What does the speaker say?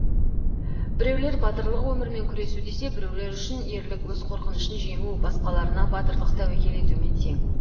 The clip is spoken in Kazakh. біреулер батырлық өмірмен күресу десе біреулер үшін ерлік өз қорқынышын жеңу басқаларына батырлық тәуекел етумен тең